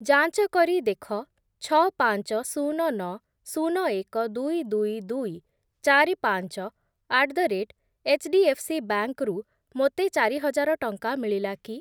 ଯାଞ୍ଚ କରି ଦେଖ ଛଅ, ପାଞ୍ଚ, ଶୂନ, ନଅ, ଶୂନ, ଏକ, ଦୁଇ, ଦୁଇ, ଦୁଇ, ଚାରି, ପାଞ୍ଚ ଆଟ୍ ଦ ରେଟ୍ ଏଚ୍‌ଡିଏଫ୍‌ସିବାଙ୍କ୍ ରୁ ମୋତେ ଚାରି ହଜାର ଟଙ୍କା ମିଳିଲା କି?